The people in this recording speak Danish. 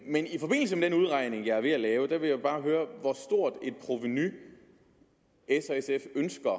men i forbindelse med den udregning jeg er ved at lave vil jeg bare høre hvor stort et provenu s og sf ønsker